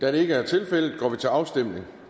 da det ikke er tilfældet går vi til afstemning